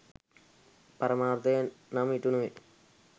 පරමාර්ථය නම් ඉටු නොවේ.